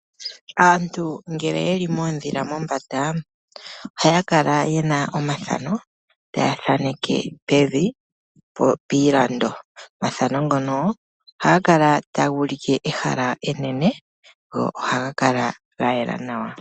Aantu ngele yeli moondhila monbanda, ohaya kala yena omathano taya thaaneke pevi piilando. Omathano ngono ohaga kala taga ulike ehala enene, go ohaga kala ga yela nawa.